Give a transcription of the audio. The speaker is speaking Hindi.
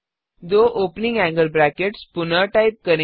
दो ओपनिंग एंगल ब्रैकेट्स पुनः टाइप करें